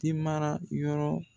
tin mara yɔrɔ